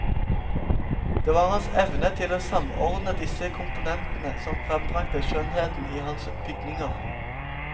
Det var hans evne til å samordne disse komponentene som frembragte skjønnheten i hans bygninger.